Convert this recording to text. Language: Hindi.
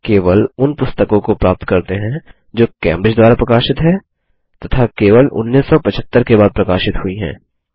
केवल उन पुस्तकों को प्राप्त करते हैं जो कैम्ब्रिज द्वारा प्रकाशित हैं तथा जो केवल 1975 के बाद प्रकाशित हुई हैं